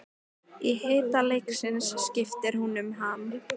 Í hita leiksins skiptir hún um ham.